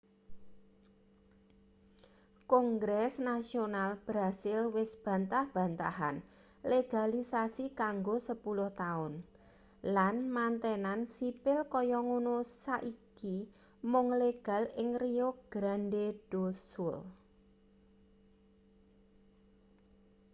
kongres nasional brasil wis bantah-bantahan legalisasi kanggo 10 taun lan mantenan sipil kaya ngono saiki mung legal ing rio grande do sul